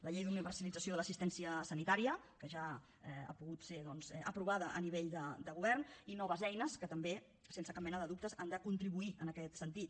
la llei d’universalització de l’assistència sanitària que ja ha pogut ser doncs aprovada a nivell de govern i noves eines que també sense cap mena de dubte han de contribuir en aquest sentit